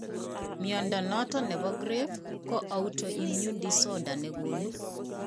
Mnyondo noton nebo Grave ko autoimmune disorder negonu